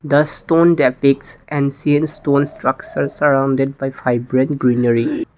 The stone depicts and seen stone structures surrounded by fibrant greenery.